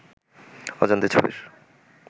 অজান্তে ছবির